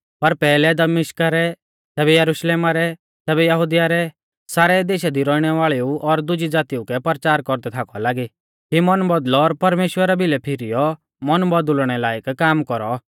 पर पैहलै दमिश्का रै तैबै यरुशलेमा रै तैबै यहुदिया रै सारै देशा दी रौइणै वाल़ेऊ और दुजी ज़ातीऊ कै परचार कौरदै थाकौ लागी कि मन बौदल़ौ और परमेश्‍वरा भिलै फीरीयौ मन बौदुल़णै लायक काम कौरौ